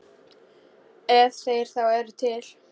Ef þeir þá eru til.